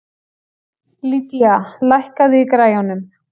Lydia, lækkaðu í græjunum.